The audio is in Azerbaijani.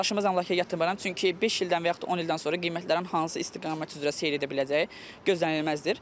Daşınmaz əmlakaya yatırımayam, çünki beş ildən və yaxud da 10 ildən sonra qiymətlərin hansı istiqamət üzrə seyir edə biləcəyi gözlənilməzdir.